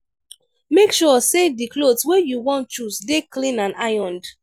make sure sey di cloth wey you wan choose dey clean and ironed